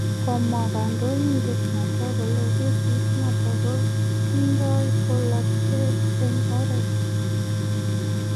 Komwa kandoindet noton kole Kesit noton ko tindoi polatet en orit